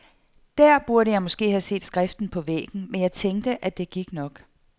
Der burde jeg måske have set skriften på væggen, men jeg tænkte, at det gik nok.